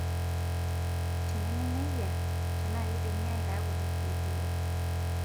Tenemenejia, tenaaa keidimi aitaa kuti ilkeek liwok .